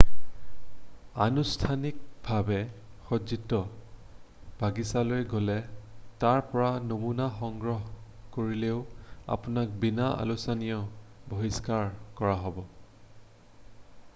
আনুষ্ঠানিকভাৱে সজ্জিত বাগিছালৈ গ’লে তাৰ পৰা নমুনা” সংগ্ৰহ কৰিলেও আপোনাক বিনা আলোচনাই বহিষ্কাৰ কৰা হ’ব।